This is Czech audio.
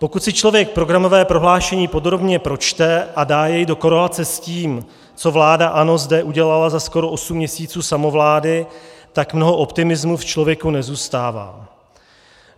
Pokud si člověk programové prohlášení podrobně pročte a dá jej do korelace s tím, co vláda ANO zde udělala za skoro osm měsíců samovlády, tak mnoho optimismu v člověku nezůstává.